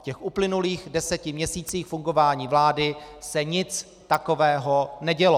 V těch uplynulých deseti měsících fungování vlády se nic takového nedělo.